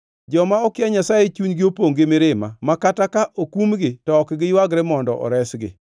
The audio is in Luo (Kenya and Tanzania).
“Joma okia Nyasaye chunygi opongʼ gi mirima ma kata ka okumgi to ok giywagre mondo oresgi.